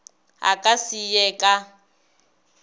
a ka se ye ka